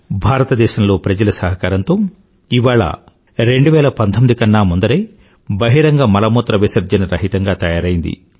భారతదేశంలో ప్రజల సహకారంతో ఇవాళ భారతదేశం 2019 కన్నా ముందరే బహిరంగ మలమూత్రవిసర్జన రహితంగా తయారయ్యింది